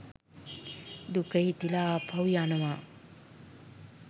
දුක හිතිලා ආපහු යනවා